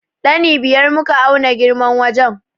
Ɗani biyar muka auna girman wajen.